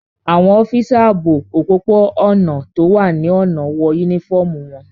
Àwọn ọ́físà ààbò òpópó-ọ̀nà tó wà ní ọ̀nà wọ yúnífọ́ọ̀mù wọn